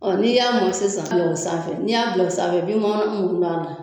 Ɔ n'i y'a mɔn sisan sanfɛ, n'i y'a bila o sanfɛ i bi